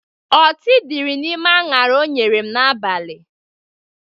Ọtị dịrị n'ime añara o nyere m n'abalị